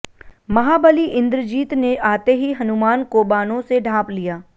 महाबली इंद्रजीत ने आते ही हनुमान को बाणों से ढांप लिया